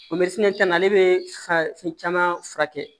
caman na ale bɛ fa fɛn caman furakɛ